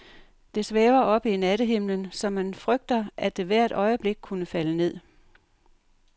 Det svæver oppe i nattehimlen, så man frygter, at det hvert øjeblik kunne falde ned.